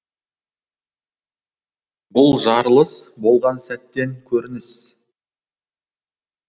бұл жарылыс болған сәттен көрініс